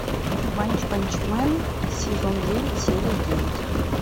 ванпанчмен сезон девять серия девять